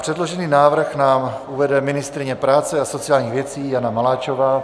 Předložený návrh nám uvede ministryně práce a sociálních věcí Jana Maláčová.